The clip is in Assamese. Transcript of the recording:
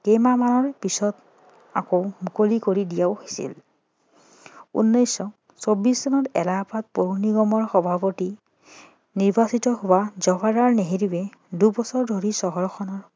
কেইমাহ মানৰ পাছত আকৌ মুকলি কৰি দিয়াও হৈছিল উনৈছশ ছৌবিশ চনত এলাহাবাদ পৌৰ নিগমৰ সভাপতি নিৰ্বাচিত হোৱা জৱাহৰলাল নেহেৰুৱে দুবছৰ ধৰি চহৰখনত